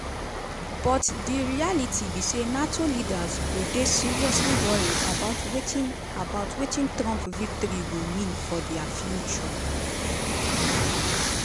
but di reality be say nato leaders go dey seriously worried about wetin about wetin trump victory go mean for dia future.